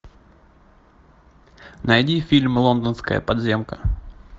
найди фильм лондонская подземка